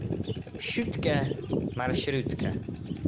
шутка маршрутка